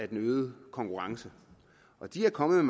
den øgede konkurrence og de er kommet